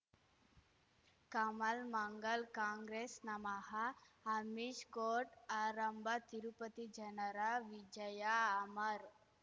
ಕಮಲ್ ಮಂಗಳ್ ಕಾಂಗ್ರೆಸ್ ನಮಃ ಅಮಿಷ್ ಕೋರ್ಟ್ ಆರಂಭ ತಿರುಪತಿ ಜನರ ವಿಜಯ ಅಮರ್